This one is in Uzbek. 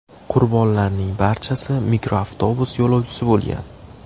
Qurbonlarning barchasi mikroavtobus yo‘lovchisi bo‘lgan.